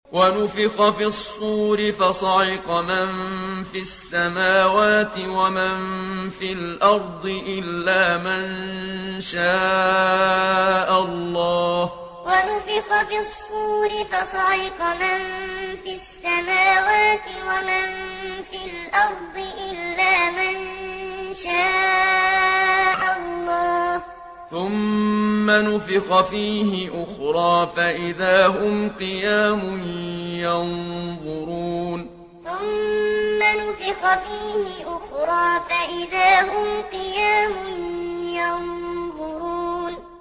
وَنُفِخَ فِي الصُّورِ فَصَعِقَ مَن فِي السَّمَاوَاتِ وَمَن فِي الْأَرْضِ إِلَّا مَن شَاءَ اللَّهُ ۖ ثُمَّ نُفِخَ فِيهِ أُخْرَىٰ فَإِذَا هُمْ قِيَامٌ يَنظُرُونَ وَنُفِخَ فِي الصُّورِ فَصَعِقَ مَن فِي السَّمَاوَاتِ وَمَن فِي الْأَرْضِ إِلَّا مَن شَاءَ اللَّهُ ۖ ثُمَّ نُفِخَ فِيهِ أُخْرَىٰ فَإِذَا هُمْ قِيَامٌ يَنظُرُونَ